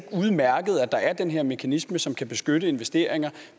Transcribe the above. udmærket at der er den her mekanisme som kan beskytte investeringer